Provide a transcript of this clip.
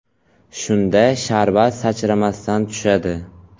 Shunda sharbat sachramasdan tushadi.